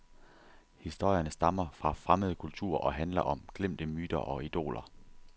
Historierne stammer fra fremmede kulturer og handler om glemte myter og idoler.